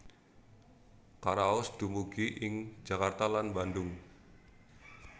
Karaos dumugi ing Jakarta lan Bandung